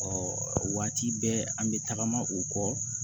o waati bɛɛ an bɛ tagama u kɔ